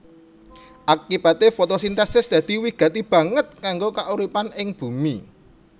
Akibaté fotosintesis dadi wigati banget kanggo kauripan ing bumi